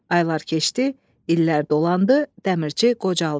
Aylar keçdi, illər dolandı, dəmirçi qocaldı.